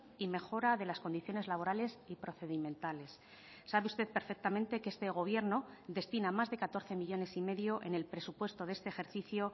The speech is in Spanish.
y mejora de las condiciones laborales y procedimentales sabe usted perfectamente que este gobierno destina más de catorce millónes y medio en el presupuesto de este ejercicio